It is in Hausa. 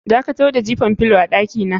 Dakatar da jifan filo a dakina.